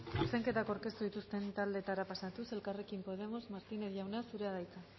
zuzenketak aurkeztu dituzten taldeetara pasatuz elkarrekin podemos martínez jauna zurea